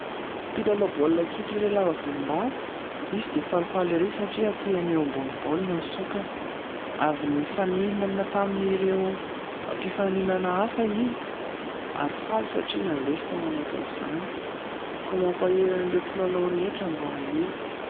Mpilalao baolina kitra iray lava volombava izy dia falifaly ire satria hatehany eo ambonin'ny baolina ny saokany, avy nifaninana tamin'ireo mpifaninana hafa izy ary faly satria nandresy tao anatin'izany. Koa mampahery an'ireo mpilalao rehetra mba hahery.